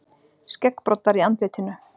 Skeggbroddar í andlitinu.